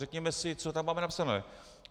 Řekněme si, co tam máme napsané.